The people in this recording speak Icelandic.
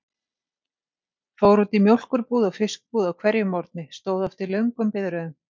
Fór út í mjólkurbúð og fiskbúð á hverjum morgni, stóð oft í löngum biðröðum.